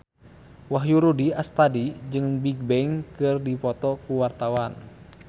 Wahyu Rudi Astadi jeung Bigbang keur dipoto ku wartawan